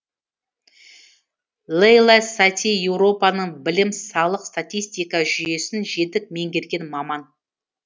лейла сати еуропаның білім салық статистика жүйесін жетік меңгерген маман